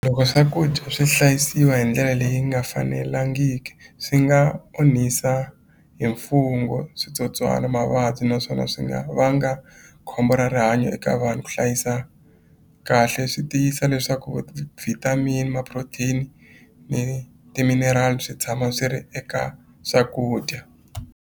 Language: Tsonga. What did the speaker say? Loko swakudya swi hlayisiwa hi ndlela leyi nga fanelangiki swi nga onhisa hi mfungho switsotswana mavabyi naswona swi nga vanga khombo ra rihanyo eka vanhu ku hlayisa kahle swi tiyisa leswaku vitamin ma-protein ni timinerali swi tshama swi ri eka swakudya.